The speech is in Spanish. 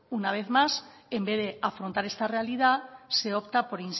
una vez más en vez de afrontar esta realidad se opta por